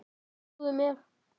Trúðu mér.